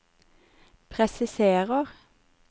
presiserer